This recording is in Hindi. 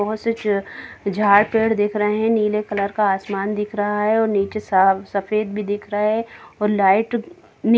बहुत से चे झाड़ पेड़ दिख रहे है नीले कलर का आसमान दिख रहा है और नीचे सा सफ़ेद भी दिख रहे है लाइट नि--